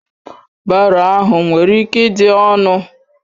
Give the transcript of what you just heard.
Baro ahụ nwere ike ịdị ọnụ